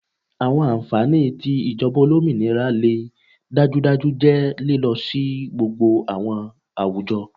Awọn anfani ti ijọba olominira le dajudaju jẹ lilo si gbogbo awọn awujọ